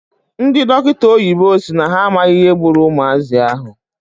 Ndị dọkịta oyibo si na ha amaghị ihe gburu ụmụazị ahụ.